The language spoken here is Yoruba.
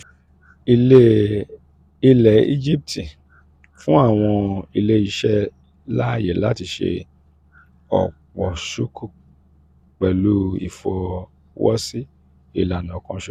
ilẹ̀ íjíbítì fún àwọn ilé-iṣẹ́ láàyè láti ṣe ọ̀pọ̀ sukuk pẹ̀lú ìfọwọ́sí ìlànà kan ṣoṣo